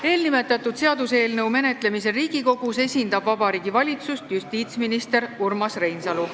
Eelnimetatud seaduseelnõu menetlemisel Riigikogus esindab Vabariigi Valitsust justiitsminister Urmas Reinsalu.